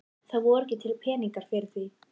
Það voru ekki til peningar fyrir því.